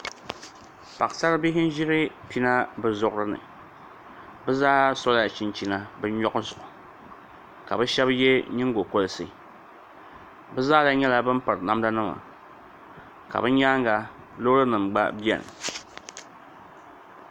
Paɣasaribihi n ʒiri pina bi zuɣurini bi zaa sola chinchina bi nyoɣu zuɣu ka bi shab yɛ nyingokoriti bi zaaha nyɛla bin piri namda nima ka bi nyaanga loori nim gba biɛni